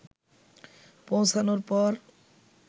পৌঁছানোর পর